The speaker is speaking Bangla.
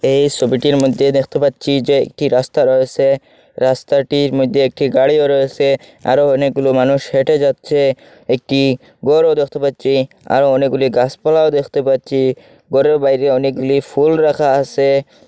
এই সবিটির মধ্যে দেখতে পাচ্ছি যে একটি রাস্তা রয়েসে রাস্তাটির মধ্যে একটি গাড়িও রয়েসে আরো অনেকগুলো মানুষ হেঁটে যাচ্ছে একটি গরও দেখতে পাচ্ছি আরো অনেকগুলি গাসপালাও দেখতে পাচ্ছি ঘরের বাইরে অনেকগুলি ফুল রাখা আসে।